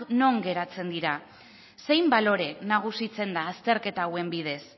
non geratzen dira zein balore nagusitzen da azterketa hauen bidez